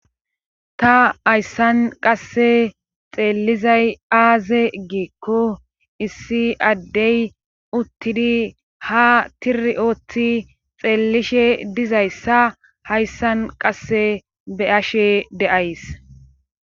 Ta hayssan qasse xeellizay aaze giekko issi addey uttidi ha tiri oothi xeellishe dizayssa hayssan qasse be ashe de'ays.